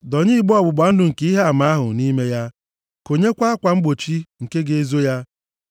Dọnye igbe ọgbụgba ndụ nke Ihe Ama ahụ nʼime ya. Konyekwa akwa mgbochi nke ga-ezo ya.